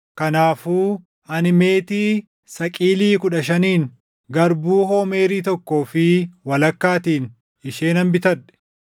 Kanaafuu ani meetii saqilii kudha shaniin, garbuu hoomeerii tokkoo fi walakkaatiin ishee nan bitadhe.